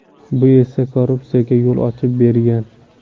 Bu esa korrupsiyaga yo‘l ochib bergan.